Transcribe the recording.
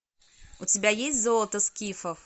у тебя есть золото скифов